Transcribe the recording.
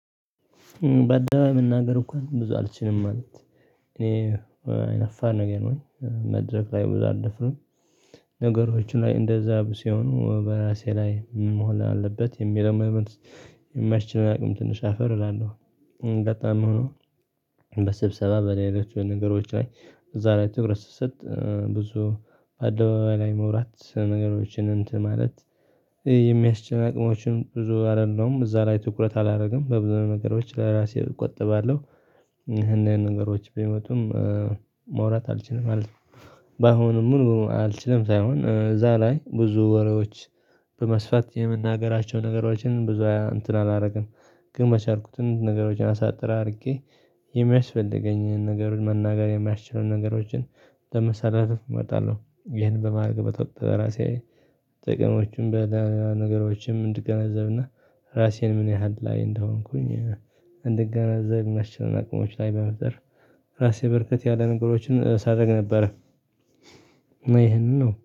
በአደባባይ መናገር እንኳን ብዙ አልችልም ማለት። እኔ አይናፋር ነገር ነኝ። መድረክ ላይ ብዙ አልደፍርም። ነገሮችን ላይ እንደዛ ሲሆኑ በራሴ ላይ መሆን አለበት የሚለውን መሞንት የማይችለው አቅም ትንሽ አፈር እላለሁ። በጣም ሆኖ በስብሰባ በሌላ ነገሮች ላይ እዛ ላይ ትኩረት ስሰጥ ብዙ በአደባባይ ላይ መውራት ነገሮችን እንትን ማለት የሚያስችል አቅሞችን ብዙ አይደለሁም እዛ ላይ ትኩረት አላደርግም በብዙ ነገሮች ለራሴ እቆጥባለሁ። እኒህ እኒህ ነገሮች ቢመጡም ማውራት አልችልም ማለት ነው። ባሁኑም ሙሉ በሙሉ አልችልም ሳይሆን እዛ ላይ ብዙ ወሬዎች በመስፋት የምናገራቸው ነገሮችን ብዙ እንትን አላደርግም። ግን መቻልኩትን ነገሮችን አሳጥር አድርጌ የሚያስፈልገኝን ነገር መናገር የማያስችለውን ነገሮችን ለመሰላተፍ እመጣለሁ ይህን በማረግበት ወቅት በራሴ ጥቅሞችም በሌላ ነገሮችም እንድገናዘብና ራሴን ምን ያህል ላይ እንደሆንኩኝ እንድገነዘብ ማስችለን አቅሞች ላይ በመፍጠር ራሴ በርከት ያለ ነገሮችን ሳደርግ ነበረ ይሄንን ነው